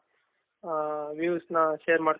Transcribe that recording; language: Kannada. views ನ share ಮಾಡಿದ್ದಕ್ಕೆ.